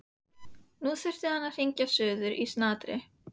Nú þyrfti hann að hringja suður í snatri.